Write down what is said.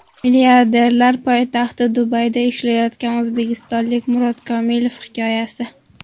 Milliarderlar poytaxti Dubayda ishlayotgan o‘zbekistonlik Murod Komilov hikoyasi.